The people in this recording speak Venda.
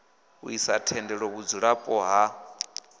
ḽi sa tendele vhudzulapo ha